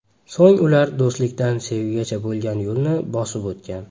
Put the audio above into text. So‘ng ular do‘stlikdan sevgigacha bo‘lgan yo‘lni bosib o‘tgan.